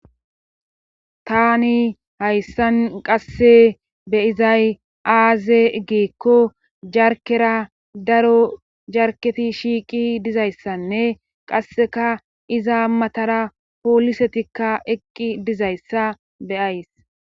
Tani hayssan qasse beyizay aaze geekko jarkera daro jarketi shiiqi dizayssanne qasseka iza matara poolisetikka eqqi dizayssa beyays.